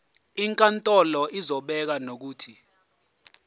inkantolo izobeka nokuthi